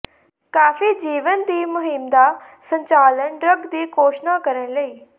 ਕਾਫ਼ੀ ਜੀਵੰਤ ਦੀ ਮੁਹਿੰਮ ਦਾ ਸੰਚਾਲਨ ਡਰੱਗ ਦੀ ਘੋਸ਼ਣਾ ਕਰਨ ਲਈ